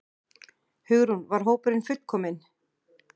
Hugrún: Var hópurinn fullkominn?